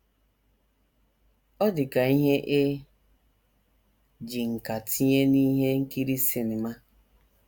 Ọ dị ka ihe e ji nkà tinye n’ihe nkiri sinima.